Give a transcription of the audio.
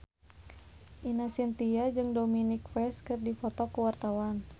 Ine Shintya jeung Dominic West keur dipoto ku wartawan